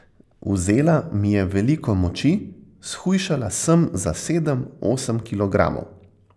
Vzela mi je veliko moči, shujšala sem za sedem, osem kilogramov.